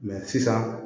sisan